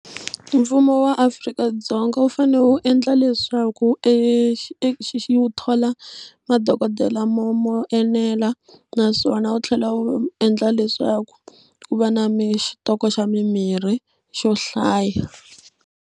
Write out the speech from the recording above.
Mfumo wa Afrika-Dzonga wu fane wu endla leswaku e xi xi wu thola madokodela mo mo enela naswona wu tlhela wu endla leswaku u va na mi xitoko xa mimirhi xo hlaya.